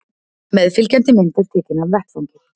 Meðfylgjandi mynd er tekin af vettvangi